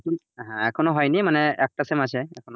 হ্যাঁ এখনও হয়নি মানে একটা sem আছে এখনও,